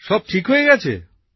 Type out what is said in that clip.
সব ঠিক হয়ে গেছে